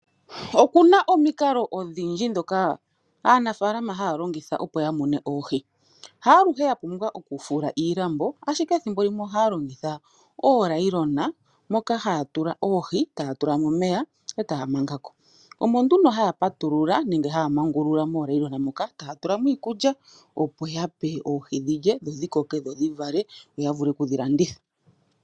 Oku na omikalo odhindji ndhoka aanafaalama haya longitha, opo ya mune oohi. Haaluhe ya pumbwa okufula iilambo, ihe ethimbo limwe ohaya longitha oonayilona, moka haya tula oohi e taya tula mo omeya e taya manga ko. Oko nduno haya mangulula koonayilona hoka taya tula mo iikulya, opo ya pe oohi dhi lye, dho dhi koke dho dhi vale yo ya wape okudhi landitha.